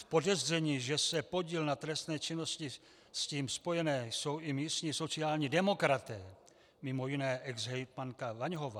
V podezření, že mají podíl na trestné činnosti s tím spojené, jsou i místní sociální demokraté, mimo jiné exhejtmanka Vaňhová.